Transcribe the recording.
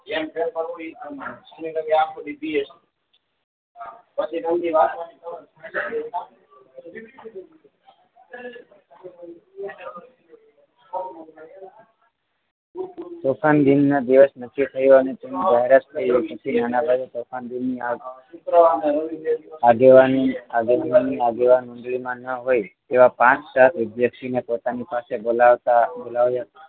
તોફાન દિનના દિવસ નક્કી થયો અને તેની જાહેરાત થઈ પછી નાના ભાઈ તોફાન દિનની આગ આગેવાની આગેવાન મંડળીમાં ન હોય એવા પાંચ સાત વિદ્યાર્થીઓને પોતાની પાસે બોલાવતા બોલાવ્યા